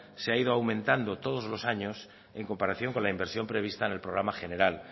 se ha ido aumentando todos los años en comparación con la inversión prevista en el programa general